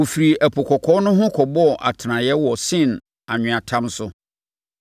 Wɔfirii Ɛpo Kɔkɔɔ no ho, kɔbɔɔ atenaeɛ wɔ Sin anweatam so.